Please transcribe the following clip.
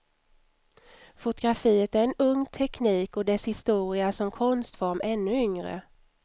Fotografiet är en ung teknik och dess historia som konstform ännu yngre.